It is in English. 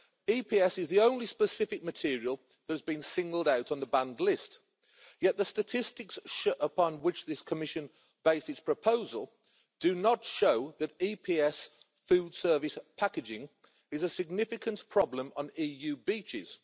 EPS is the only specific material that has been singled out on the banned list, yet the statistics upon which this Commission based its proposal do not show that EPS food service packaging is a significant problem on EU beaches.